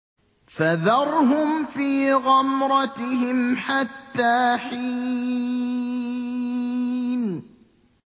فَذَرْهُمْ فِي غَمْرَتِهِمْ حَتَّىٰ حِينٍ